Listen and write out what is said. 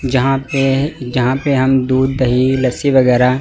जहां पे जहां पे हम दूध दही लस्सी वगैरा--